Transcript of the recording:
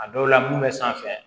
A dɔw la mun bɛ sanfɛ